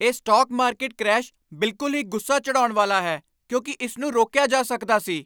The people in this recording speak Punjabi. ਇਹ ਸਟਾਕ ਮਾਰਕੀਟ ਕ੍ਰੈਸ਼ ਬਿਲਕੁਲ ਹੀ ਗੁੱਸਾ ਚੜ੍ਹਾਉਣ ਵਾਲਾ ਹੈ ਕਿਉਂਕਿ ਇਸ ਨੂੰ ਰੋਕਿਆ ਜਾ ਸਕਦਾ ਸੀ।